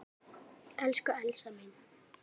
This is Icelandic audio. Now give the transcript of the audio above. Elsku Elsa mín.